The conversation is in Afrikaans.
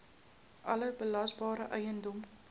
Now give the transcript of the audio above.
alle belasbare eiendom